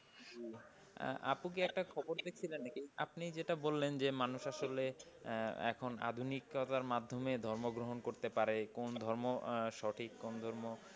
আপু কি একটা খবর দেখছিলেন নাকি আপনি যেটা বললেন মানুষ আসলে এখন আধুনিকতার মাধ্যমে ধর্ম গ্রহণ করতে পারে। কোন ধর্ম সঠিক কোন ধর্ম,